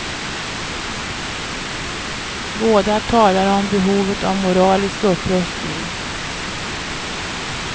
Båda talar om behovet av moralisk upprustning.